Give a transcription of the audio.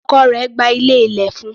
Ọkọ rẹ̀ gba ilé ilẹ̀ fún un.